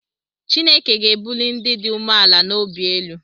Chineke ga-ebuli ndị dị umeala n’obi elu